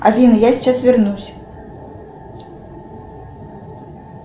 афина я сейчас вернусь